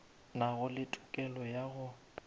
nago le tokelo ya go